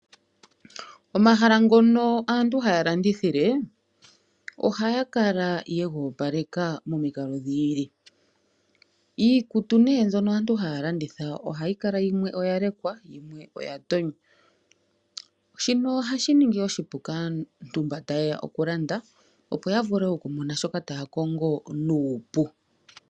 Omahala ngono aantu haya landithile, ohaya kala yega opaleka momikalo dhi ili, iikutu ne mbyono aantu haya landitha ohayi kala yimwe oya lekwa, yimwe oya tonywa, shino ohashi ningi oshipu kaantu mbo ta yeya okulanda opo ya vule okumona shoka taya kongo nuupu.